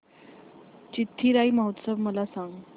चिथिराई महोत्सव मला सांग